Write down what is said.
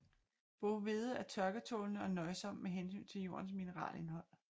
Boghvede er tørketålende og nøjsom med hensyn til jordens mineralindhold